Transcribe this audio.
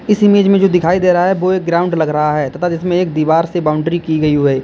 इस इमेज में जो दिखाई दे रहा है वो एक ग्राउंड लग रहा है तथा इसमें एक दीवार से बाउंड्री की गई हु है।